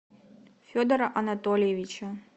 федора анатольевича